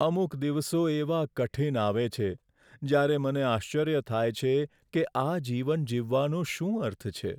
અમુક દિવસો એવા કઠીન આવે છે, જ્યારે મને આશ્ચર્ય થાય છે કે આ જીવન જીવવાનો શું અર્થ છે?